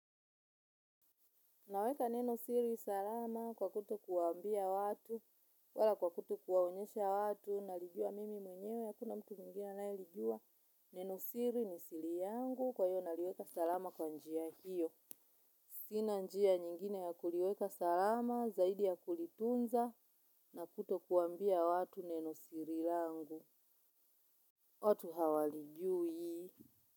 Naweka neno siri salama kwa kutowambia watu, wala kwa kutowaonyesha watu, nalijua mimi mwenyewe, hakuna mtu mwingine analijua. Neno siri ni siri yangu, kwa hiyo naliweka salama kwa njia hiyo. Sina njia nyingine ya kuliweka salama, zaidi ya kulitunza, na kutowambia watu neno siri langu. Watu hawalijui.